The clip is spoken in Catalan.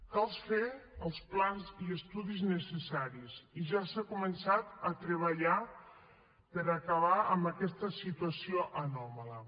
cal fer els plans i estudis necessaris i ja s’ha començat a treballar per acabar amb aquesta situació anòmala